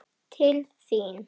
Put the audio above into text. Til þín?